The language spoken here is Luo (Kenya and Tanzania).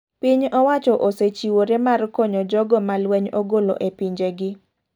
Piny owacho osechiwore mar konyo jogo ma lweny ogolo e pinje gi.